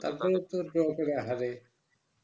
তারপরে তো draw করে হারায়